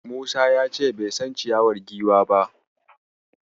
Musa ya ce bai san ciyawar Giwa ba.